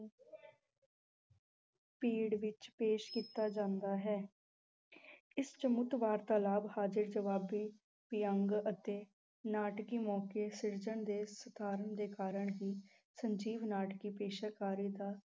ਪਿੜ ਵਿੱਚ ਪੇਸ਼ ਕੀਤਾ ਜਾਂਦਾ ਹੈ ਇਸ ਵਾਰਤਾਲਾਪ, ਹਾਜ਼ਰ-ਜਵਾਬੀ, ਵਿਅੰਗ ਅਤੇ ਨਾਟਕੀ ਮੌਕੇ ਸਿਰਜਣ ਦੇ ਦੇ ਕਾਰਨ ਹੀ ਸਜੀਵ ਨਾਟਕੀ ਪੇਸ਼ਕਾਰੀ ਦਾ